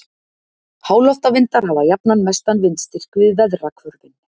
háloftavindar hafa jafnan mestan vindstyrk við veðrahvörfin